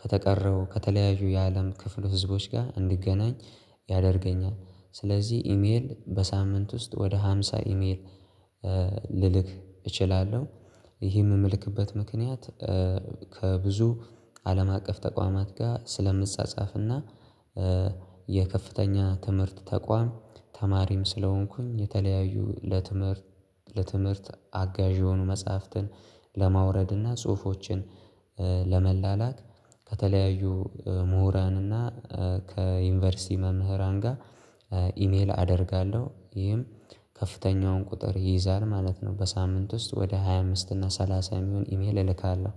ከተቀረው ከተለያዩ የአለም ክፍሉ ህዝቦች ጋር እንድገናኝ ያደርገኛል። ስለዚህ ኢሜል በሳምንት ውስጥ ወደ ሃምሳ ኢሜል ልልክ እችላለሁ። ይህ የምልክበት ምክንያት ከብዙ አለም አቀፍ ተቋማት ጋር ስለምጻጻፍና የከፍተኛ ትምህርት ተቋም ተማሪም ስለሆንኩኝ የተለያዩ ለትምህርት አጋዥ የሆኑ መጽሐፍትን ለማውረድ እና ጽሁፎችን ለመላላክ ከተለያዩ ምሁራንና ከዩኒቨርሲቲ መምህራን ጋር ኢሜል አደርጋለሁ ይህም ከፍተኛውን ቁጥር ይይዛል ማለት ነው። በሳምንት ውስጥ ወደ ሃያ አምስት እና ሠላሳም የሚሆን ኢሜል እልካለሁ።